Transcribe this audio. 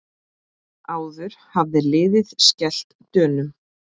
Áður hafði liðið skellt Dönum.